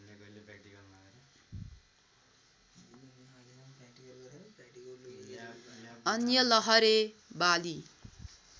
अन्य लहरे बाली